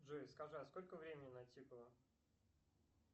джой скажи а сколько времени натикало